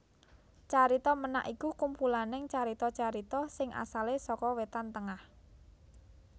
Carita Ménak iku kumpulaning carita carita sing asalé saka Wétan Tengah